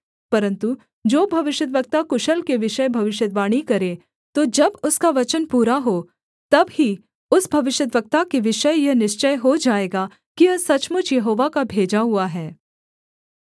परन्तु जो भविष्यद्वक्ता कुशल के विषय भविष्यद्वाणी करे तो जब उसका वचन पूरा हो तब ही उस भविष्यद्वक्ता के विषय यह निश्चय हो जाएगा कि यह सचमुच यहोवा का भेजा हुआ है